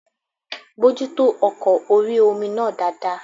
Bojútó ọkọ̀ orí-omi náà dáadáa